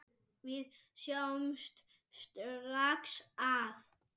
Við sjáum strax að